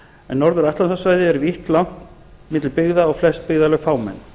en norður atlantshafssvæðið er vítt langt milli byggða og flest byggðarlög fámenn